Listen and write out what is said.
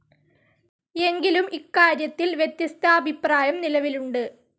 എങ്കിലും, ഇക്കാര്യത്തിൽ വ്യത്യസ്താഭിപ്രായം നിലവിലുണ്ട്.